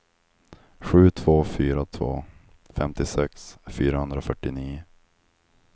sju två fyra två femtiosex fyrahundrafyrtionio